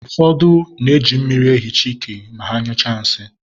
ụfọdụ na-eji mmiri ehicha ike ma ha nyụchaa nsị